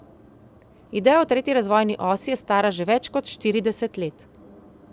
Ideja o tretji razvojni osi je stara že več kot štirideset let.